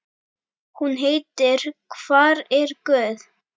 Hún heitir Hvar er guð?